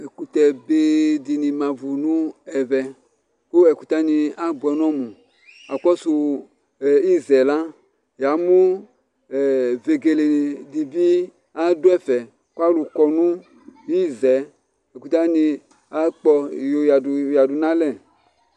ɛkutɛ be di ni ma vu no ɛvɛ kò ɛkutɛ wani aboɛ n'ɔmu akɔsu iza yɛ la ya mo vegele di bi adu ɛfɛ kò alò kɔ no iza yɛ ɛkutɛ wani akpɔ eya du eya du n'alɛ